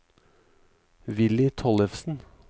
Villy Tollefsen